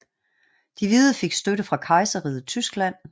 De hvide fik støtte fra Kejserriget Tyskland